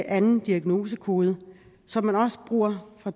anden diagnosekode som man også bruger fra